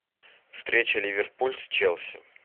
встреча ливерпуль с челси